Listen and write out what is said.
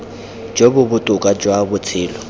jo bo botoka jwa botshelo